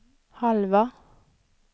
halva